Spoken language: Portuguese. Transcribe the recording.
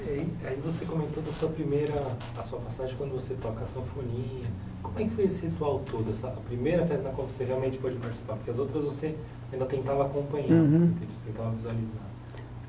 Aí você comentou da sua primeira, a sua passagem quando você toca a sanfoninha, como é que foi esse ritual todo, essa primeira vez na qual você realmente pôde participar, porque as outras você ainda tentava acompanhar, uhum tentava visualizar.